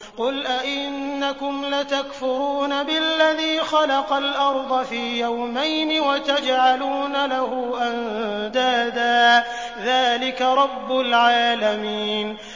۞ قُلْ أَئِنَّكُمْ لَتَكْفُرُونَ بِالَّذِي خَلَقَ الْأَرْضَ فِي يَوْمَيْنِ وَتَجْعَلُونَ لَهُ أَندَادًا ۚ ذَٰلِكَ رَبُّ الْعَالَمِينَ